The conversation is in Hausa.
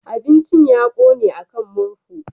Abincin ya ƙone a kan murhu.